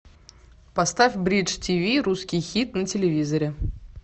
поставь бридж тиви русский хит на телевизоре